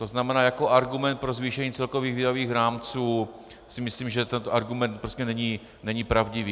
To znamená jako argument pro zvýšení celkových výdajových rámci si myslím, že tento argument prostě není pravdivý.